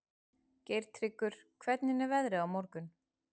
Geirtryggur, hvernig er veðrið á morgun?